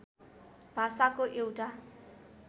भाषाको एउटा